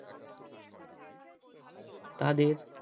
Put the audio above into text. তাদের